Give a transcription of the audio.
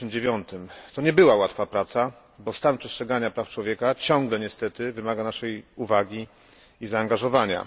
2009. To nie była łatwa praca, bo stan przestrzegania praw człowieka ciągle niestety wymaga naszej uwagi i zaangażowania.